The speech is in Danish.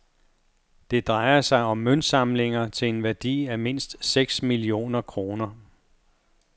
Det drejer sig om møntsamlinger til en værdi af mindst seks millioner kroner.